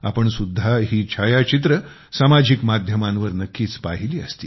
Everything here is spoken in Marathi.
आपण पण ही छायाचित्रे सामाजिक माध्यमांवर नक्कीच पाहिली असतील